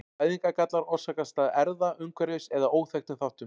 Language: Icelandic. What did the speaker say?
Fæðingargallar orsakast af erfða-, umhverfis- eða óþekktum þáttum.